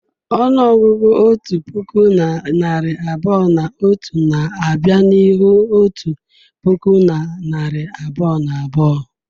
Ọnụọgụgụ otu puku na narị abụọ na otu na-abịa n'ihu otu puku na narị abụọ na abụọ.